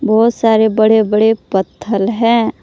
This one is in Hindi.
बहोत सारे बड़े बड़े पत्थल है।